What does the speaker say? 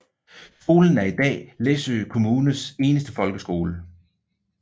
Skolen er i dag Læsø Kommunes eneste folkeskole